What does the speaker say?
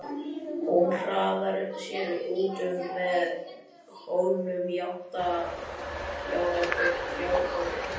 Hún hraðar sér út með hólnum í átt að fjárgötunni.